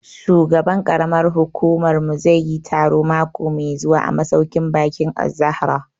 Shugaban ƙaramar hukumar mu zai yi taro mako mai zuwa a masauƙin baƙin Az-Zahra